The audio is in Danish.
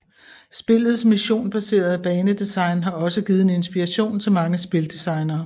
Spillets missionbaserede banedesign har også givet en inspiration til mange spildesignere